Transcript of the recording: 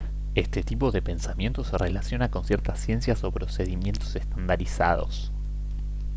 este tipo de pensamiento se relaciona con ciertas ciencias o procedimientos estandarizados